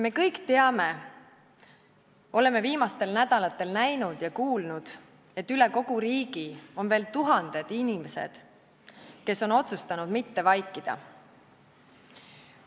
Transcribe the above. Me kõik teame, oleme viimastel nädalatel näinud ja kuulnud, et üle kogu riigi on veel tuhanded inimesed, kes on otsustanud mitte vaikida.